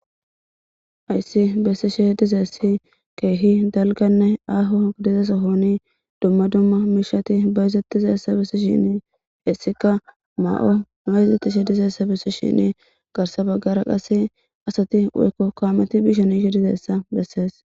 Hayssi bessishe dizeessi keehi dalganne aaho idizesa hooni dumma dumma miishati bayizetizassa bessi shinni hessika ma7o ma yizettishe dizeessa bessishinni garsa baggara qasse asati woykko koameti bishaniishe dizeessa bessees.